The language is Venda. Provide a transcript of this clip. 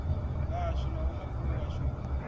vhashu na vhomakhulu washu hu